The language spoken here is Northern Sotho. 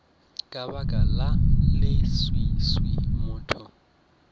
ka baka la leswiswi motho